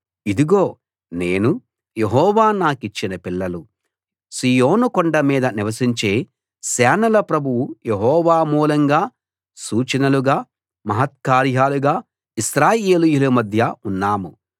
ఇదిగో నేను యెహోవా నాకిచ్చిన పిల్లలు సీయోను కొండ మీద నివసించే సేనల ప్రభువు యెహోవా మూలంగా సూచనలుగా మహత్కార్యాలుగా ఇశ్రాయేలీయుల మధ్య ఉన్నాము